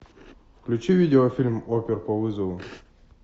включи видеофильм опер по вызову